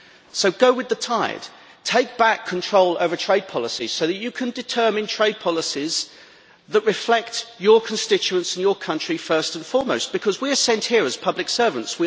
So go with the tide, take back control over trade policy so that you can determine trade policies that reflect your constituents in your country first and foremost, because we are sent here as public servants.